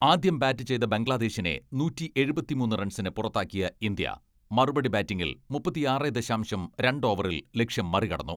ആദ്യം ബാറ്റ് ചെയ്ത ബംഗ്ലാദേശിനെ നൂറ്റിയെഴുപത്തിമൂന്ന് റൺസിന് പുറത്താക്കിയ ഇന്ത്യ, മറുപടി ബാറ്റിംഗിൽ മുപ്പത്തിയാറെ ദശാംശം രണ്ട് ഓവറിൽ ലക്ഷ്യം മറികടന്നു.